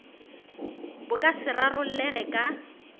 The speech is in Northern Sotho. bo ka se rarollege ka